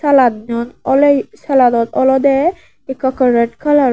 salanot olode ekka ekka red colour.